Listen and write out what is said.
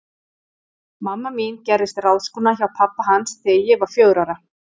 Mamma mín gerðist ráðskona hjá pabba hans þegar ég var fjögurra ára.